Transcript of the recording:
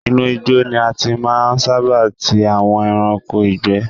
Inú igbó ni a ti máa ń sábà tí àwọn ẹranko ìgbé.